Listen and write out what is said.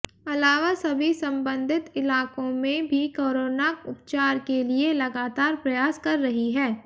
अलावा सभी संबंधित इलाकों में भी कोरोना उपचार के लिए लगातार प्रयास कर रही है